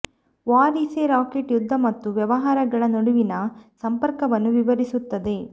war is a racket ಯುದ್ಧ ಮತ್ತು ವ್ಯವಹಾರಗಳ ನಡುವಿನ ಸಂಪರ್ಕವನ್ನು ವಿವರಿಸುತ್ತದೆ